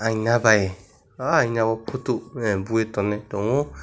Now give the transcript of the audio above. nabai aina o photo buwui tonwi tongo.